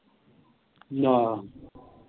ਨਾਂ।